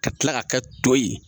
Ka tila ka kɛ to ye.